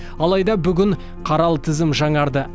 алайда бүгін қаралы тізім жаңарды